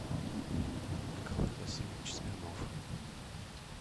николай васильевич смирнов